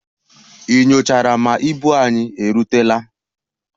Ị nyochara ma ibu anyị erutela?